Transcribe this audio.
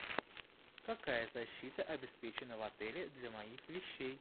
какая защита обеспечена в отеле для моих вещей